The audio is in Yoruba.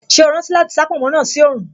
Ṣé o rántí láti sá pònmó náà sí oòrùn